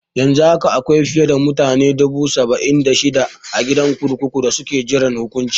Yanzu haka akwai fiye da mutane dubu saba'in da shida a gidan kurkuku da suke jiran hukunci.